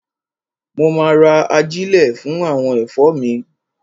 Mo ma ra ajílẹ̀ fún àwọn ẹ̀fọ́ mi.